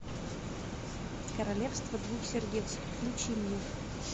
королевство двух сердец включи мне